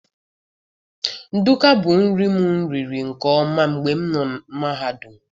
Ndukwu bu nri mụ riri nke ọma mgbe m nọ mahadum